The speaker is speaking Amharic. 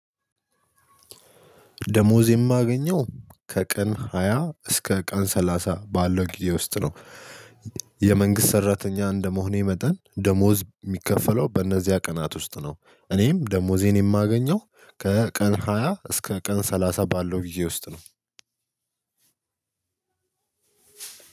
ደሞዝ የማገኘው ከቀን ሃያ እስከ ቀን ሰላሳ ባለው ጊዜ ውስጥ ነው። የመንግስት ሰራተኛ እንደመሆኔ መጠን ደሞዝ የሚከፈለው በእነዚያ ቀናት ውስጥ ነው። እኔም ደሞዜን የማገኘው ከቀን ሃያ እስከ ቀን ሰላሳ ባለው ጊዜ ውስጥ ነው።